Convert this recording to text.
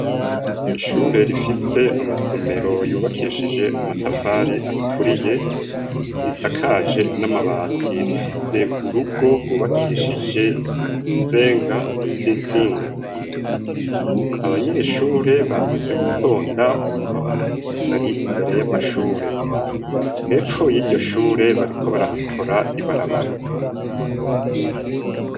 Ishure rifise isomera yubakishije amatafari aturiye risakaje namabati rifise urugo rwubakishije nisenga zizitsinga. Abanyeshure bamaze gutonda bari imbere y'amashure yepfo yiryo shure bariko barahakora ibarabara.